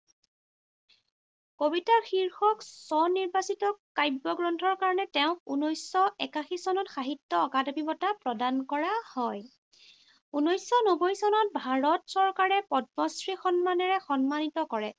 কবিতা শীৰ্ষক স্বনিৰ্বাচিত কাব্য গ্ৰন্থৰ কাৰণে তেওঁক ঊনৈশশ একাশী চনত সাহিত্য অকাডেমী বঁটা প্ৰদান কৰা হয়। ঊনৈশশ নব্বৈ চনত ভাৰত চৰকাৰে পদ্মশ্ৰী সন্মানেৰে সন্মানিত কৰে।